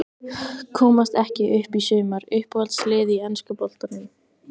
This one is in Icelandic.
Komast ekki upp í sumar Uppáhalds lið í enska boltanum?